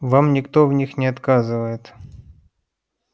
вам никто в них не отказывает